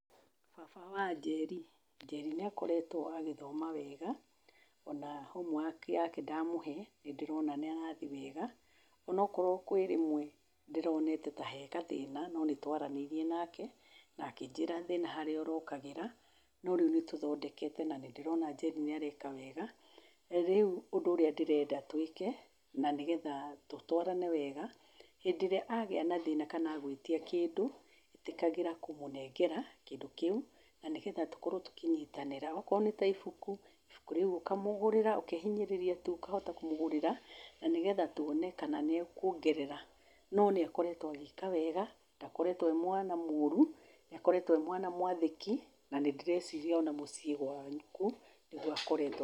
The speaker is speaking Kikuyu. Baba wa Njeri, Njeri nĩakoretwo agĩthoma wega ona homework yake ndamũhee nĩndĩrona nĩarathie wega. Ona korwo kwĩ rĩmwe ndĩronete ta he gathina no nĩtwaranĩirie nake nakĩnjĩra thĩna harĩa ũrokagĩra no rĩu nĩtũthondekete na nĩndĩrona Njeri nĩareka wega. Rĩu ũndũ ũria ndĩrenda twĩke na nĩgetha tũtwarane wega hĩndĩ ĩrĩa agĩa na thĩna kana agwĩtia kĩndũ ĩtĩkagĩra kũmũnengera kĩndũ kĩu na nĩgetha tũkorwo tũkĩnyitanĩra okorwo nĩta ibuku ibuku rĩu ũkamũgũrĩra ũkehinyanĩrĩria tu ũkahota kũmũgũrĩra na nĩgetha tuone kana nĩekuongerera, no nĩekoretwo agĩka wega ndakoretwo e mwana mũru nĩkoretwo e mwana mwathĩki na nĩndĩreciria nginya mũciĩ gwaku nĩguo akoretwo.